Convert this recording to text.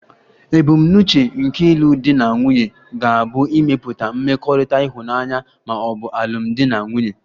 Ebumnuche nke ịlụ di na nwunye ga-abụ ịmepụta mmekọrịta ịhụnanya ma ọ bụ alụmdi na nwunye.